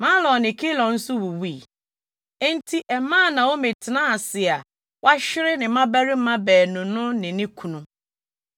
Mahlon ne Kilion nso wuwui. Enti ɛmaa Naomi tenaa ase a wahwere ne mmabarima baanu no ne ne kunu.